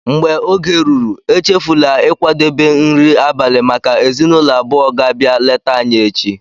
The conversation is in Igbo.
mgbe oge ruru, échéfula ịkwadebe nri abalị maka ezinụlọ abụọ ga-abia léta anyị echi